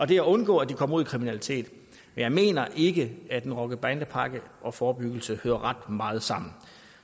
det at undgå at de kommer ud i kriminalitet men jeg mener ikke at en rocker bande pakke og forebyggelse hører ret meget sammen